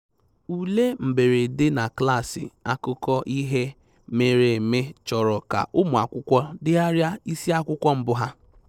Ule mberede na klaasị akụkọ ihe mere eme chọrọ ka ụmụ akwụkwọ degharịa isiakwụkwọ mbụ ha